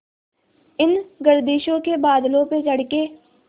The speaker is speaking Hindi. इन गर्दिशों के बादलों पे चढ़ के